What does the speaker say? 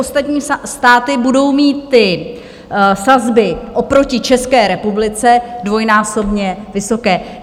Ostatní státy budou mít ty sazby oproti České republice dvojnásobně vysoké.